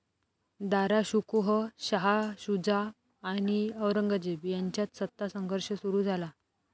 दाराशुकोह, शाह शूजा आणि औरंगजेब यांच्यात सत्तासंघर्ष सुरु झाला.